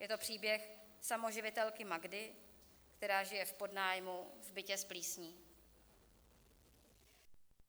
Je to příběh samoživitelky Magdy, která žije v podnájmu v bytě s plísní.